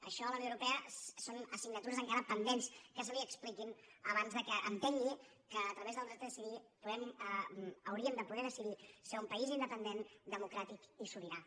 això a la unió europea són assignatures encara pendents que se li expliquin abans que entengui que a través del dret a decidir hauríem de poder decidir ser un país independent democràtic i sobirà